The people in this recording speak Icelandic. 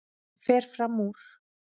Fer fram úr.